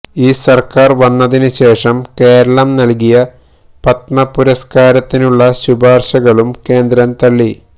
ഈ സര്ക്കാര് വന്നതിനു ശേഷം കേരളം നല്കിയ പത്മ പുരസ്കാരത്തിനുള്ള ശിപാര്ശകളും കേന്ദ്രം തള്ളി